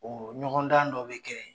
Ɔ ɲɔgɔndan dɔ bɛ kɛ